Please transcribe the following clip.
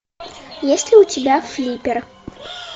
есть ли у тебя флиппер